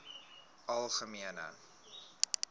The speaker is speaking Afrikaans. algemene